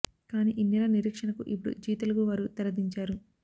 కానీ ఇన్నేళ్ల నిరీక్షణకు ఇపుడు జీ తెలుగు వారు తెర దించారు